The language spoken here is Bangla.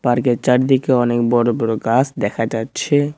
পার্কের চারদিকে অনেক বড়ো বড়ো গাছ দেখা যাচ্ছে।